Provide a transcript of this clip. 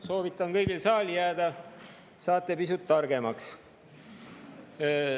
Soovitan kõigil saali jääda, saate pisut targemaks.